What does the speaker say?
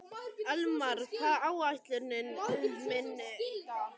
Elmar, hvað er á áætluninni minni í dag?